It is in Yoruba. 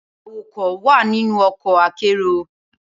Awakọ wa ninu ọkọ akero